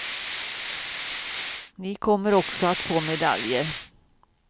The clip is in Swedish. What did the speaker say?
Ni kommer också att få medaljer.